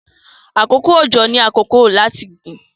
àkókò ojo ní àkókò láti gbìn.